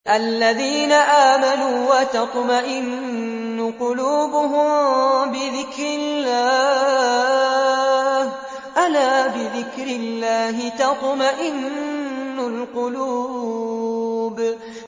الَّذِينَ آمَنُوا وَتَطْمَئِنُّ قُلُوبُهُم بِذِكْرِ اللَّهِ ۗ أَلَا بِذِكْرِ اللَّهِ تَطْمَئِنُّ الْقُلُوبُ